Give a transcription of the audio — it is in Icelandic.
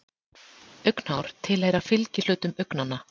Augnhár tilheyra fylgihlutum augnanna.